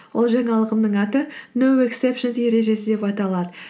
ол жаңалығымның аты ноу ексепшенс ережесі деп аталады